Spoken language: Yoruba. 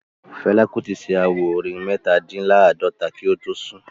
Fela Kuti ṣe àwo-orin Metadinlaadota kí o tó sùn